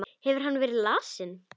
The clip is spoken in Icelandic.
Hefur hann verið lasinn?